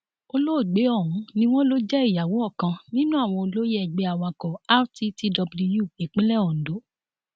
olóògbé ọhún ni wọn lọ jẹ ìyàwó ọkan nínú àwọn olóyè ẹgbẹ awakọ rttw ìpínlẹ ondo